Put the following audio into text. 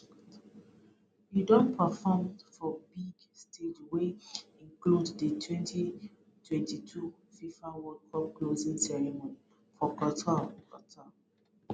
e don perform for big stages wey include di 2022 fifa world cup closing ceremony for qatar qatar